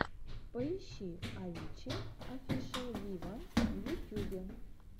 поищи авичи офишел виво в ютюбе